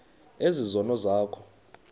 ezi zono zakho